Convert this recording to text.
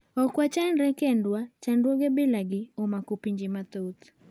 Ok wachandre kendwa, chadruoge bilagi omako pinje mathoth.